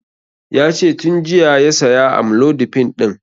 Yace tun jiya ya saya amlodipin ɗin